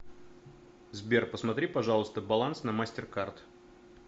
сбер посмотри пожалуйста баланс на мастер кард